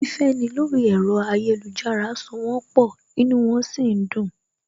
Fífẹ́ni lórí ẹ̀rọ ayélujára so wón pọ̀, inú wọn sì ń dùn